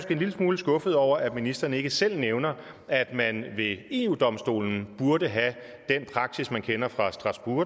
en lille smule skuffet over at ministeren ikke selv nævner at man ved eu domstolen burde have den praksis man kender fra